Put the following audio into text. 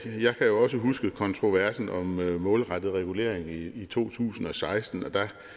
jeg kan jo også huske kontroversen om målrettet regulering i to tusind og seksten hvor